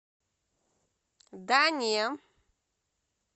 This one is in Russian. да не